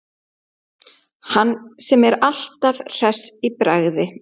Hann sem er alltaf hress í bragði.